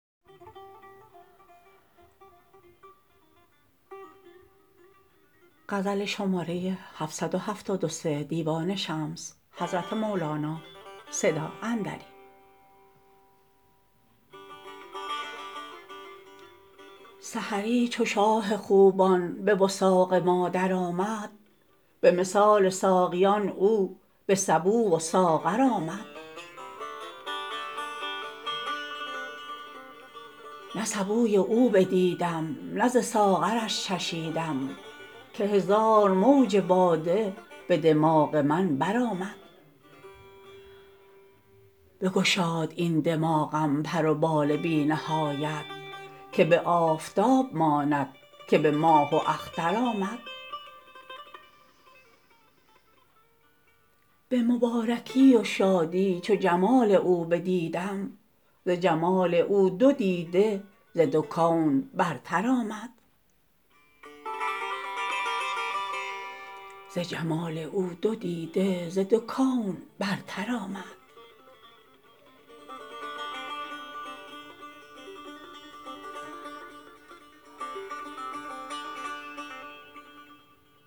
سحری چو شاه خوبان به وثاق ما درآمد به مثال ساقیان او به سبو و ساغر آمد نه سبوی او بدیدم نه ز ساغرش چشیدم که هزار موج باده به دماغ من برآمد بگشاد این دماغم پر و بال بی نهایت که به آفتاب ماند که به ماه و اختر آمد به مبارکی و شادی چو جمال او بدیدم ز جمال او دو دیده ز دو کون برتر آمد